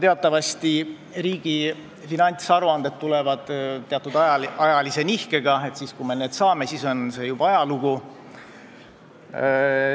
Teatavasti tulevad riigi finantsaruanded teatud ajalise nihkega, st siis, kui meie need saame, on see juba ajalugu.